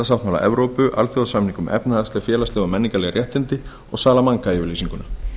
mannréttindasáttmála evrópu alþjóðasamning um efnahagsleg félagsleg og menningarleg réttindi og salamanca yfirlýsinguna